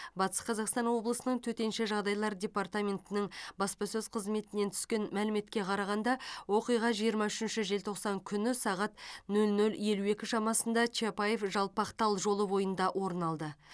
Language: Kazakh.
батыс қазақстан облысының төтенше жағдайлар департаментінің баспасөз қызметінен түскен мәліметке қарағанда оқиға жиырма үшінші желтоқсан күні сағат нөл нөл елу екі шамасында чапаев жалпақтал жолы бойында орын алды